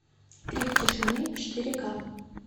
крик тишины четыре ка